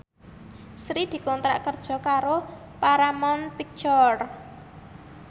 Sri dikontrak kerja karo Paramount Picture